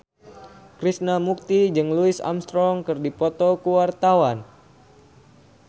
Krishna Mukti jeung Louis Armstrong keur dipoto ku wartawan